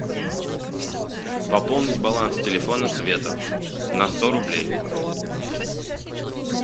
пополнить баланс телефона света на сто рублей